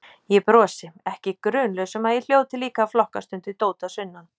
Ég brosi, ekki grunlaus um að ég hljóti líka að flokkast undir dót að sunnan.